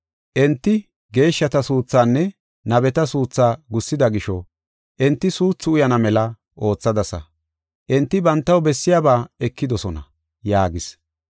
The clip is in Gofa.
Enti geeshshata suuthaanne nabeta suuthaa gussida gisho, enti suuthu uyana mela oothadasa. Enti bantaw bessiyaba ekidosona” yaagis.